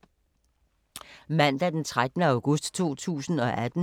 Mandag d. 13. august 2018